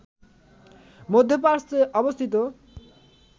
মধ্যপ্রাচ্যে অবস্থিত